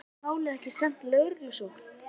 En verður málið ekki sent í lögreglurannsókn?